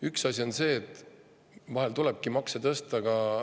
Üks asi on see, et vahel tulebki makse tõsta.